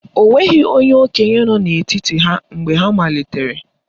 O nweghị onye okenye nọ n'etiti ha mgbe ha malitere